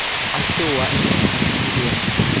Casho waa inay ahaataa mid wanaagsan.